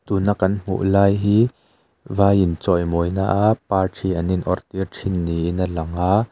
tuna kan hmuh lai hi vai inchawimawina a parthi an inawrhtir thin niin a lang a.